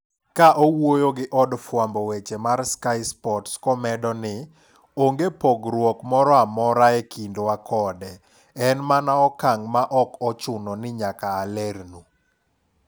Ka owuyo gi od fwambo weche mar Sky Sports komedo ni: Onge pogruok moroamora e kindwa kode en mana okang' ma ok ochuno ni nyaka alernu.